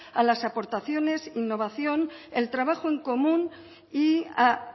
a las aportaciones innovación el trabajo en común y a